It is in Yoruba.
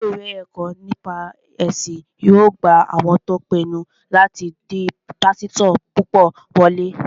Ilé-ìwé ẹ̀kọ́ nípa ẹ̀sìn yóò gba àwọn tó pinnu láti di pásítọ̀ púpọ̀ wọlé